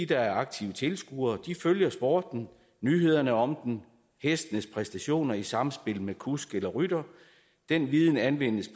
der er aktive tilskuere de følger sporten nyhederne om den hestenes præstationer i samspil med kusk eller rytter den viden anvendes